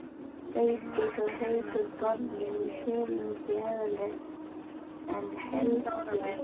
Vigdís og Haukur borðuðu silung í aðalrétt en Helgi og